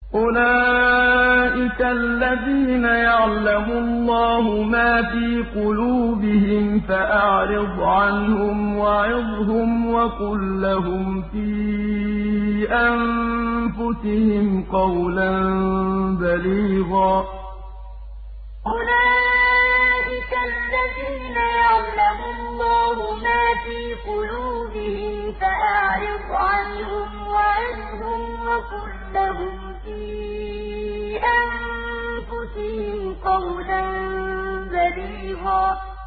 أُولَٰئِكَ الَّذِينَ يَعْلَمُ اللَّهُ مَا فِي قُلُوبِهِمْ فَأَعْرِضْ عَنْهُمْ وَعِظْهُمْ وَقُل لَّهُمْ فِي أَنفُسِهِمْ قَوْلًا بَلِيغًا أُولَٰئِكَ الَّذِينَ يَعْلَمُ اللَّهُ مَا فِي قُلُوبِهِمْ فَأَعْرِضْ عَنْهُمْ وَعِظْهُمْ وَقُل لَّهُمْ فِي أَنفُسِهِمْ قَوْلًا بَلِيغًا